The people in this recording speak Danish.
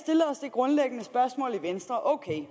grundlæggende spørgsmål i venstre ok